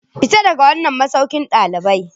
Fita daga wannan masaukin dalibai.